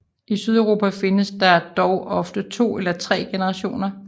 I Sydeuropa findes der dog ofte 2 eller 3 generationer